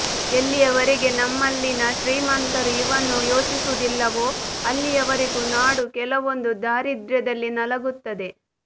ಎಲ್ಲಿಯವರೆಗೆ ನಮ್ಮಲ್ಲಿನ ಶ್ರೀಮಂತರು ಇವನ್ನು ಯೋಚಿಸುವುದಿಲ್ಲವೊ ಅಲ್ಲಿಯವರೆಗೂ ನಾಡು ಕೆಲವೊಂದು ದಾರಿದ್ರ್ಯದಲ್ಲಿ ನಲಗುತ್ತದೆ